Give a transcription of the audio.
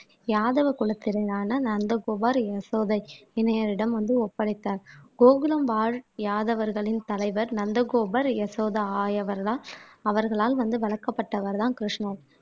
யாதவ குலத்தினரான நந்தகோபார் யசோதை இணையரிடம் வந்து ஒப்படைத்தார் கோகுலம் வாழ் யாதவர்களின் தலைவர் நந்தகோபர் யசோதா ஆயவர்தான் அவர்களால் வந்து வளர்க்கப்பட்டவர்தான் கிருஷ்ணர்